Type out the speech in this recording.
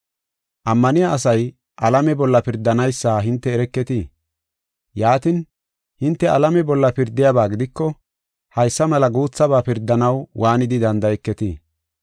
Ammaniya asay alame bolla pirdanaysa hinte ereketii? Yaatin, hinte alame bolla pirdiyaba gidiko, haysa mela guuthaba pirdanaw waanidi danda7eketii?